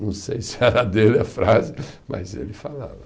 Não sei se era dele a frase, mas ele falava.